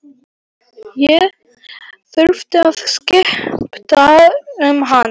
Ég þurfti að skipta um hann.